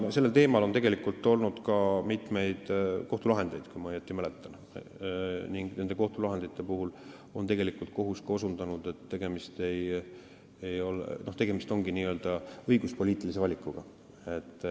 Sellel teemal on olnud ka mitmeid kohtulahendeid, kui ma õigesti mäletan, ning nendel juhtudel on kohus osutanud, et tegemist ongi n-ö õiguspoliitilise valikuga.